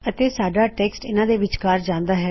ਅਤੇ ਸਾਡਾ ਟੈੱਕਸਟ ਇਨ੍ਹਾ ਦੇ ਵਿਚਕਾਰ ਜਾਂਦਾ ਹੈ